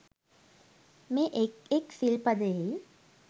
මේ එක් එක් සිල් පදයෙහි